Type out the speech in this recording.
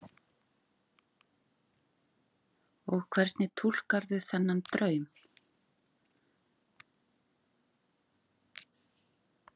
Og hvernig túlkarðu þennan draum?